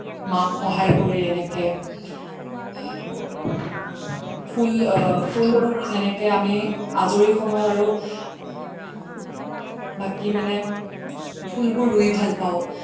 মাক সহায় কৰি এনেকে ফুল বোৰ যেনেকে আমি আজৰি সময়ত আৰু বাকি মানে ফুল বোৰ ৰুই ভাল পাও